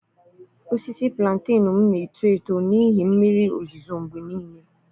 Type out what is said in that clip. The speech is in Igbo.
Osisi Plantenu m na-eto eto n'ihi mmiri ozuzo mgbe niile.